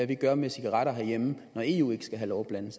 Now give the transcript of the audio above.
vi gør med cigaretter herhjemme når eu ikke skal have lov blande